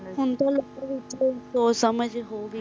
ਹੁਣ ਤੇ ਲੋਕਾਂ ਵਿਚ ਸੋਚ ਸਮਾਜ ਹੋਗੇ